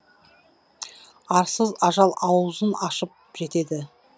арсыз ажал аузын ашып жетеді